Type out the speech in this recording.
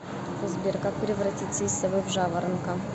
сбер как превратиться из совы в жаворонка